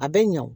A bɛ ɲa o